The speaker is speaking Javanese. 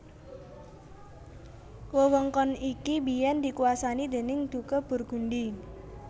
Wewengkon iki biyèn dikuwasani déning Duke Burgundy